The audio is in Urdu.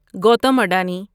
گوتم ادانی